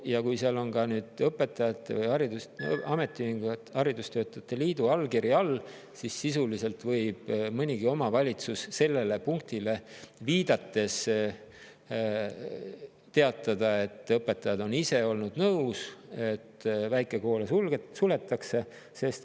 Ja kui seal on ka õpetajate ametiühingu või haridustöötajate liidu allkiri all, siis sisuliselt võib mõnigi omavalitsus sellele punktile viidates teatada, et õpetajad on ise olnud nõus, et väikekoole suletakse.